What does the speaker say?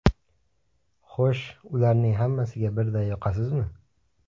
Xo‘sh, ularning hammasiga birday yoqasizmi?